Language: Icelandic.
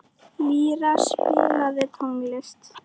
Lýra, spilaðu tónlist.